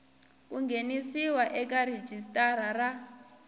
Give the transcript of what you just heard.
ku nghenisiwa eka rhijisitara ra